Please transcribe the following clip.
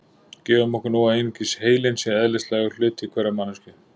gefum okkur nú að einungis heilinn sé eðlislægur hluti hverrar manneskju